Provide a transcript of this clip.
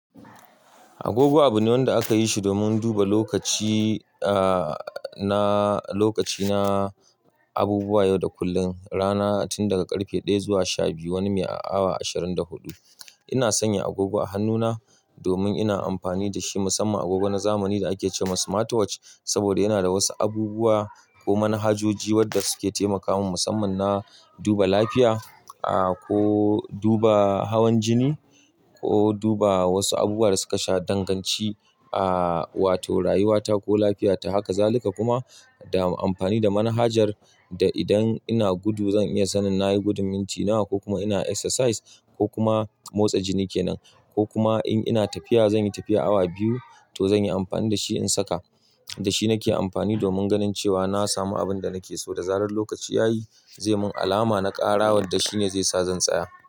Agogo abune wamda akayish domin duba lokaci aa na lokaci na abubuwa yau da kullum, rana tun daga ƙarfe ɗaya zuwa sha biyu wani mai awa ashirin da huɗu. Ina sanya agogo a hannuna domin ina amfani da shi musamman agogo na zamani da ake ce wa Smart Watch saboda yana da wasu abubuwa ko manhajoji wadda suke taimakamun musamman na duba lafiya, ahhh, ko duba hawan jini ko duba wasu abubuwa da suka sha danganci, ahhh, wato rayuwata ko lafiyata. Haka zalika kuma da amfani da manhajar da idan ina gudu zan iya sanin nayi gudun minti nawa, kokuma ina exercise kokuma motsa jini kenan, kokuma in ina tafiya zan yi tafiyan awa biyu, to zanyi amfani dashi na saka da shi nake amfani domin ganin cewa na samu abin da nake so da zarar lokaci ya yi, zai mun alama na ƙara wanda shine zai sa zan tsaya.